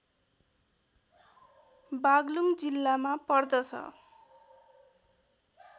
बाग्लुङ जिल्लामा पर्दछ